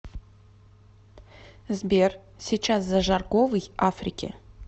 сбер сейчас за жарковый африки